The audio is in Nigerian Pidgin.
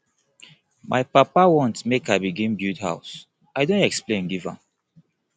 my papa want make i begin build house i don explain give am